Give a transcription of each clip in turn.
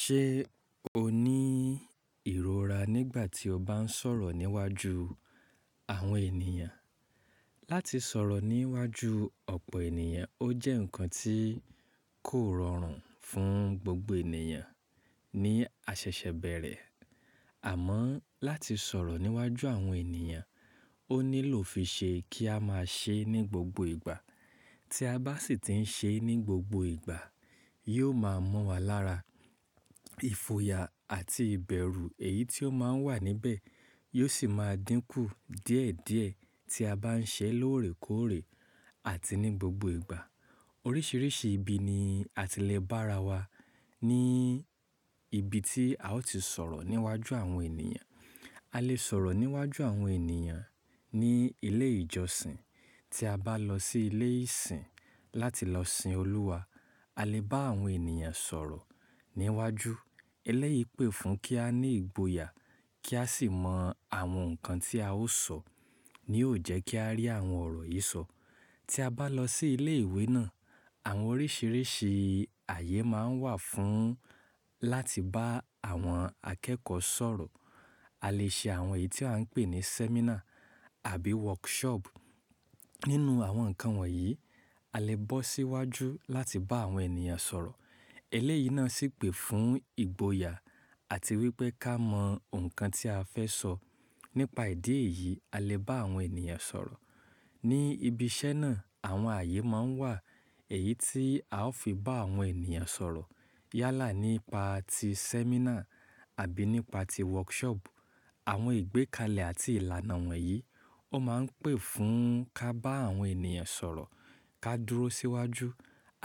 Ṣé o ní ìrora nígbà tí o bá ń sọ̀rọ̀ níwájú àwọn ènìyàn? Láti sọ̀rọ̀ níwájú ọ̀pọ̀ ènìyàn, ó jẹ́ nǹkan tí kò rọrùn fún gbogbo ènìyàn ní a ṣẹ̀ṣẹ̀ bẹ̀rẹ̀. Àmọ́ láti sọ̀rọ̀ níwájú àwọn ènìyàn, ó nílò fíṣe kí a máa ṣe é ní gbogbo ìgbà. Tí a bá sì ti ń ṣe é ní gbogbo ìgbà, yóò máa mọ́ wa lára. Ifòyà àti ìbẹ̀rù èyí tí ó máa ń wà níbẹ̀ yóò sì máa dínkù díẹ̀díẹ̀ tí a bá ń ṣe é lóòrèkóòrè àti ní gbogbo ìgbà. Oríṣiríṣi ibi ni a ti le bá ara wa ní ibi tí a ó ti sọ̀rọ̀ níwájú àwọn ènìyàn. A lè sọ̀rọ̀ níwájú àwọn ènìyàn ní ilé ìjọsìn. Tí a bá lọ sí ilé ìsìn láti lọ sìn Olúwa, a lè bá àwọn ènìyàn sọ̀rọ̀ níwájú. Eléyìí pè fún kí a ní ìgboyà kí a sì mọ àwọn nǹkan tí a ó sọ ní ò jẹ́ kí a rí àwọn ọ̀rọ̀ yìí sọ. Tí a bá lọ sí ilé ìwé náà, àwọn oríṣiríṣi ààyè máa ń wà fún láti bá àwọn akẹ́kọ̀ọ́ sọ̀rọ̀. A lè ṣe àwọn èyí tí à ń pè ní sẹ́mínà àbí wọ́rkṣọọ̀bù. Nínú àwọn nǹkan wọ̀nyí, a lè bọ́ síwájú láti bá àwọn ènìyàn sọ̀rọ̀. Eléyìí náà sì pè fún ìgboyà àti wípé ká mọ ǹkan tí a fẹ́ sọ. Nípa ìdí èyí, a lè bá àwọn ènìyàn sọ̀rọ̀. Ní ibi iṣẹ́ náà, àwọn ààyè máa ń wà eyí tí a ó fi bá àwọn ènìyàn sọ̀rọ̀. Yálà nípa ti sẹ́mínà àbí nípa ti wọ́rkṣọọ̀bù. Àwọn ìgbékalẹ̀ àti ìlànà wọ̀nyí ó máa ń pè fún ká bá àwọn ènìyàn sọ̀rọ̀, ká dúró síwájú.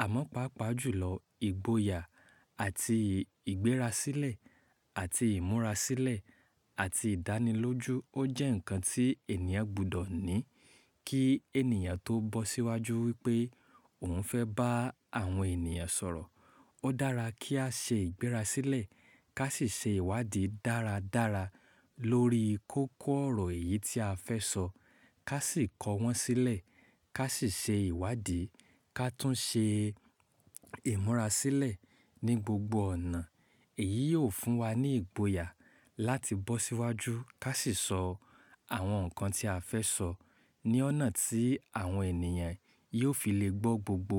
Àmọ́ pàápàá jùlọ, ìgboyà àti ìgbérasílẹ̀ àti ìmúrasílẹ̀ àti ìdánilójú ó jẹ́ nǹkan tí ènìyàn gbọdọ̀ ní kí ènìyàn tó bọ́ síwájú wípé òun fẹ́ bá àwọn ènìyàn sọ̀rọ̀. Ó dára kí á ṣe ìgbérasílẹ̀ ká sì ṣe ìwádìí dáradára lórí kókó ọ̀rọ̀ èyí tí a fẹ́ sọ ká sì kọ wọ́n sílẹ̀ ká sì ṣe ìwádìí ká tún ṣe ìmúrasílẹ̀ ní gbogbo ọ̀nà. Èyí yóò fún wa ní ìgboyà láti bọ́ síwájú ká sì sọ àwọn nǹkan tí a fẹ́ sọ ní ọ̀nà tí àwọn ènìyàn yóò fi lè gbọ́ gbogbo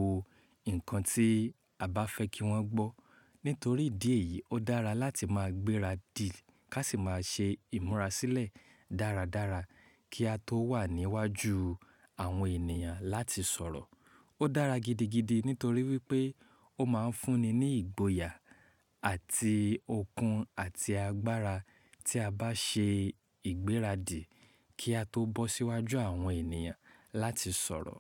nǹkan tí a bá fẹ́ kí wọ́n gbọ́. Nítorí ìdí èyí, ó dára láti máa gbéra dì ká sì máa ṣe ìmúrasílẹ̀ dáradára kí a tó wà níwájú àwọn ènìyàn láti sọ̀rọ̀. Ó dára gidigidi nítorí wípé ó máa ń fún ni ní ìgboyà àti okun àti agbára tí a bá ṣe ìgbérasílẹ̀ kí a tó bọ́ síwájú àwọn ènìyàn láti sọ̀rọ̀.